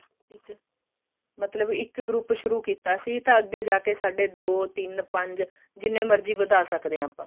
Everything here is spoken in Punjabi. ਮਤਲਬ ਇੱਕ group ਸ਼ੁਰੂ ਕੀਤਾ ਸੀ ਤੇ ਅੱਗੇ ਜਾਕੇ ਸਾਡੇ ਦੋ ਤਿੰਨ ਪੰਜ ਜਿੰਨੇ ਮਰਜੀ ਵਧਾ ਸਕਦੇ ਹਾਂ ਆਪਾਂ